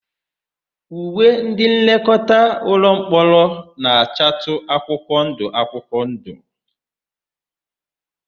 Uwe ndịnlekọta ụlọmkpọrọ na-achatụ akwụkwọndụ akwụkwọndụ.